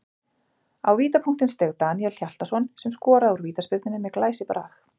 Á vítapunktinn steig Daníel Hjaltason sem skoraði úr vítaspyrnunni með glæsibrag.